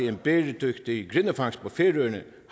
en bæredygtig grindefangst på færøerne